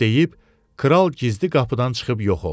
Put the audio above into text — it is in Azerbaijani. Bunu deyib, kral gizli qapıdan çıxıb yox oldu.